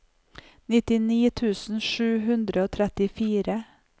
nittini tusen sju hundre og trettifire